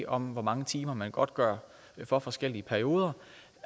om hvor mange timer man godtgør for forskellige perioder